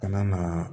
Ka na